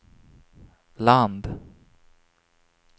land